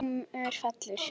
Dómur fellur